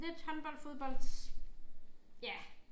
Lidt håndbold fodbold ja